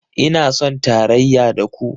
Ina son tarayya da ku